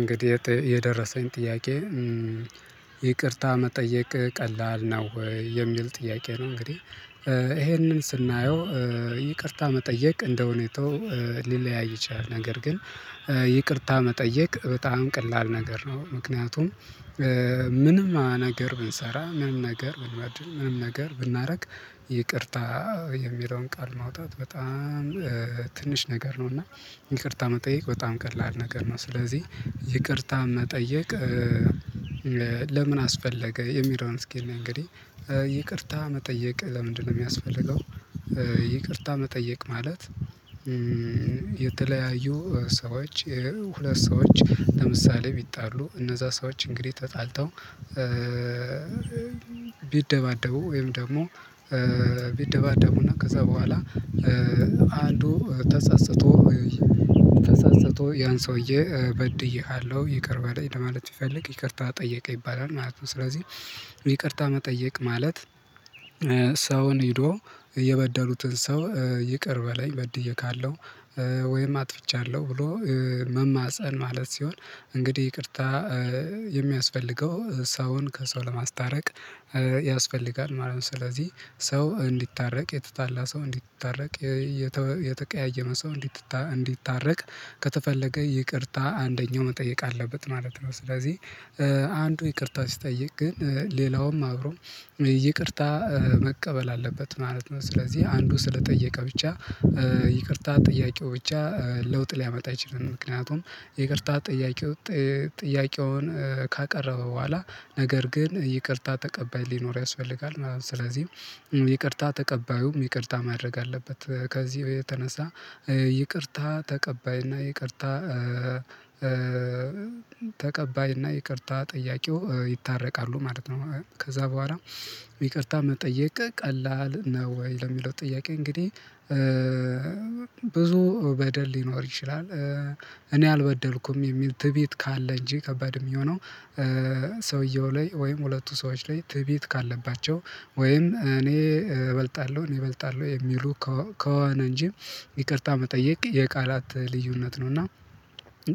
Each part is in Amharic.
እንግዲህ የደረሰኝ ጥያቄ ይቅርታ መጠየቅ ቀላል ነው የሚል ጥያቄ ነው። እንግዲህ ይሄንን ስናየው ይቅርታ መጠየቅ እንደሁኔታው ሊለያይ ይችላል። ነገር ግን ይቅርታ መጠየቅ በጣም ቀላል ነገር ነው። ምክንያቱም ምንም ነገር ብንሰራ ምንም ነገር ብንበድል ምንም ነገር ብናደርግ ይቅርታ የሚለውን ቃል ማውጣት በጣም ትንሽ ነገር ነው እና ይቅርታ መጠየቅ በጣም ቀላል ነገር ነው። ስለዚህ ይቅርታ መጠየቅ ለምን አስፈለገ የሚለዉን አስኪ እንይ እንግዲህ ይቅርታ መጠየቅ ለምንድነው የሚያስፈልገው? ይቅርታ መጠየቅ ማለት የተለያዩ ሰዎች ሁለት ሰዎች ለምሳሌ ቢጣሉ እነዛ ሰዎች እንግዲህ ተጣልተው ቢደባደቡ ወይም ደግሞ ቢደባደቡና ከዛ በኋላ አንዱ ተፀፅቶ ተፀፅቶ ያን ሰውዬ በድዬሃለሁ ይቅር በለኝ ለማለት ቢፈልግ ይቅርታ ጠየቀ ይባላል ማለት ነው። ስለዚህ ይቅርታ መጠየቅ ማለት ሰውን ሄዶ የበደሉትን ሰው ይቅር በለኝ በድዬካለው ወይም አጥፍቻለሁ ብሎ መማፀን ማለት ሲሆን እንግዲህ ይቅርታ የሚያስፈልገው ሰውን ከሰው ለማስታረቅ ያስፈልጋል ማለት ነው። ስለዚህ ሰው እንዲታረቅ የተጣላ ሰው እንዲታረቅ የተቀያየመ ሰው እንዲታረቅ ከተፈለገ ይቅርታ አንደኛው መጠየቅ አለበት ማለት ነው። ስለዚህ አንዱ ይቅርታ ሲጠይቅ ግን ሌላውም አብሮ ይቅርታ መቀበል አለበት ማለት ነው። ስለዚህ አንዱ ስለጠየቀ ብቻ ይቅርታ ጥያቄው ብቻ ለውጥ ሊያመጣ አይችልም። ምክንያቱም ይቅርታ ጥያቄው ጥያቄውን ካቀረበ በኋላ ነገር ግን ይቅርታ ተቀባይ ሊኖርው ያስፈልጋል ማለት ነው። ስለዚህ ይቅርታ ተቀባዩም ይቅርታ ማድረግ አለበት ከዚህ በየተነሳ ይቅርታ ተቀባይ እና ይቅርታ ተቀባይና ይቅርታ ጠያቂው ይታረቃሉ ማለት ነው። ከዛ በኋላ ይቅርታ መጠየቅ ቀላል ነው ወይ ለሚለው ጥያቄ እንግዲህ ብዙ በደል ሊኖር ይችላል። እኔ አልበደልኩም የሚል ትዕቢት ካለ እንጂ ከባድ የሚሆነው ሰውየው ላይ ወይም ሁለቱ ሰዎች ላይ ትዕቢት ካለባቸው ወይም እኔ እበልጣለሁ እኔ እበልጣለሁ የሚሉ ከሆነ እንጂ ይቅርታ መጠየቅ የቃላት ልዩነት ነው። እና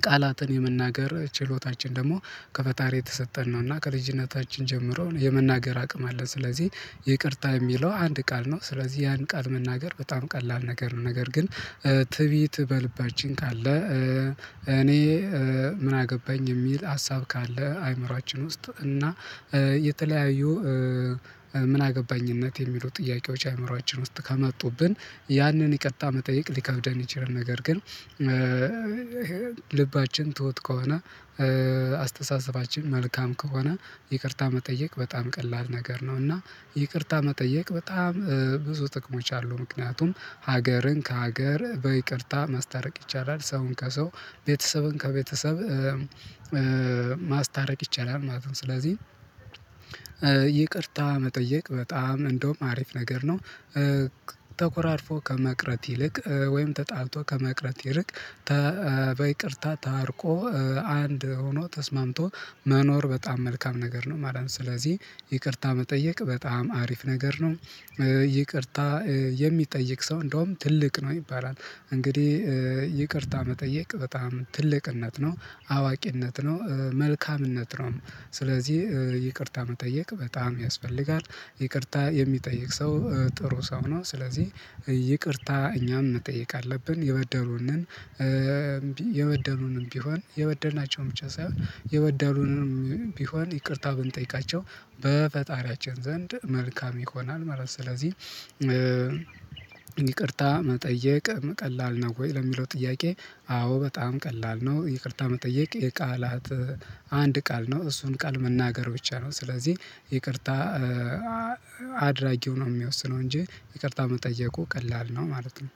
ቃላትን የመናገር ችሎታችን ደግሞ ከፈጣሪ የተሰጠን ነው እና ከልጅነታችን ጀምሮ የመናገር አቅም አለ ስለዚህ ይቅርታ የሚለው አንድ ቃል ነው ስለዚህ ያን ቃል መናገር በጣም ቀላል ነገር ነው። ነገር ግን ትዕቢት በልባችን ካለ እኔ ምን አገባኝ የሚል ሀሳብ ካለ አይምሮአችን ውስጥ እና የተለያዩ ምን አገባኝነት የሚሉ ጥያቄዎች አእምሮአችን ውስጥ ከመጡብን ያንን የቅርታ መጠየቅ ሊከብደን ይችላል። ነገር ግን ልባችን ትሁት ከሆነ አስተሳሰባችን መልካም ከሆነ ይቅርታ መጠየቅ በጣም ቀላል ነገር ነው። እና ይቅርታ መጠየቅ በጣም ብዙ ጥቅሞች አሉ ምክንያቱም ሀገርን ከሀገር በይቅርታ ማስታረቅ ይቻላል ሰውን ከሰው ቤተሰብን ከቤተሰብ ማስታረቅ ይቻላል ማለት ነው። ስለዚህ ይቅርታ መጠየቅ በጣም እንደውም አሪፍ ነገር ነው ተኮራርፎ ከመቅረት ይልቅ ወይም ተጣልቶ ከመቅረት ይርቅ በይቅርታ ታርቆ አንድ ሆኖ ተስማምቶ መኖር በጣም መልካም ነገር ነው ማለት ነው። ስለዚህ ይቅርታ መጠየቅ በጣም አሪፍ ነገር ነው። ይቅርታ የሚጠይቅ ሰው እንደውም ትልቅ ነው ይባላል እንግዲህ ይቅርታ መጠየቅ በጣም ትልቅነት ነው አዋቂነት ነው መልካምነት ነው ስለዚህ ይቅርታ መጠየቅ በጣም ያስፈልጋል ይቅርታ የሚጠይቅ ሰው ጥሩ ሰው ነው። ስለዚህ ይቅርታ እኛም መጠየቅ አለብን የበደሉንን የበደሉንም ቢሆን የበደልናቸውን ብቻ ሳይሆን የበደሉንም ቢሆን ይቅርታ ብንጠይቃቸው በፈጣሪያችን ዘንድ መልካም ይሆናል ማለት ነው። ስለዚህ ይቅርታ መጠየቅ ቀላል ነው ወይ ለሚለው ጥያቄ? አዎ በጣም ቀላል ነው። ይቅርታ መጠየቅ የቃላት አንድ ቃል ነው እሱን ቃል መናገር ብቻ ነው። ስለዚህ ይቅርታ አድራጊው ነው የሚወስነው እንጂ ይቅርታ መጠየቁ ቀላል ነው ማለት ነው